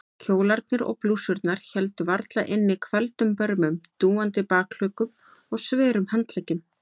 Kjólarnir og blússurnar héldu varla inni hvelfdum börmum, dúandi bakhlutum og sverum handleggjum.